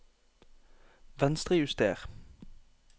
Venstrejuster